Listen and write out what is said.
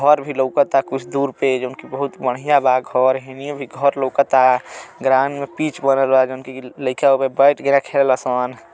घर भी लउकता कुछ दूर पे जोन कि बहुत बढ़िया बा घर। हेनियो भी घर लउकता। ग्राहन में पिच बनल बा जोन कि लईका ओमे बैट गेना खेले ल सन।